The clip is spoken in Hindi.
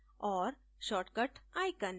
और shortcut icon